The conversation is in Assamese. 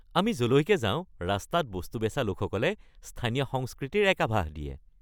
আমি য'লৈকে যাওঁ ৰাস্তাত বস্তু বেচা লোকসকলে স্থানীয় সংস্কৃতিৰ এক আভাস দিয়ে।